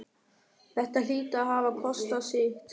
Þetta hlýtur að hafa kostað sitt!